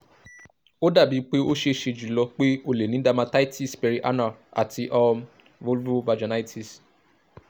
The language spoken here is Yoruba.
o dabi pe o ṣee ṣe julọ pe o le ni dermatitis perianal ati um vulvovaginitis